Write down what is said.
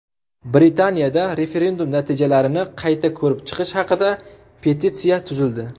Britaniyada referendum natijalarini qayta ko‘rib chiqish haqida petitsiya tuzildi.